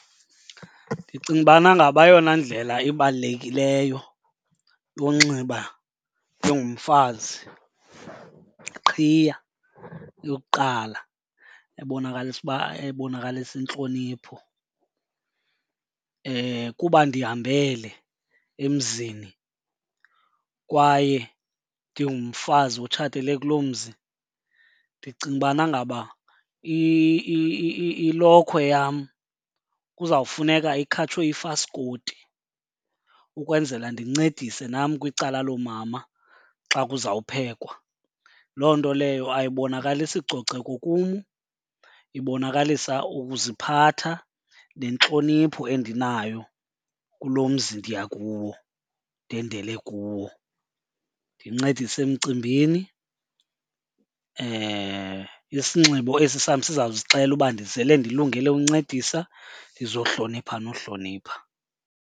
Ndicinga ubana ngaba eyona ndlela ibalulekileyo yonxiba njengomfazi yiqhiya eyokuqala ebonakalisa uba, ebonakalisa intlonipho. Kuba ndihambele emzini kwaye ndingumfazi otshatele kuloo mzi, ndicinga ubana ngaba ilokhwe yam kuzawufuneka ikhatshwe yifaskoti ukwenzela ndincedise nam kwicala loomama xa kuzawuphekwa. Loo nto leyo ayibonakalisi coceko kum, ibonakalisa ukuziphatha nentlonipho endinayo kulo mzi ndiya kuwo ndendele kuwo. Ndincedise emcimbini, isinxibo esi sam sizawuzixelela uba ndizele ndilungele uncedisa ndizohlonipha nohlonipha.